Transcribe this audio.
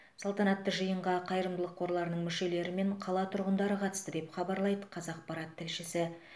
салтанатты жиынға қайырымдылық қорларының мүшелері мен қала тұрғындары қатысты деп хабарлайды қазақпарат тілшісі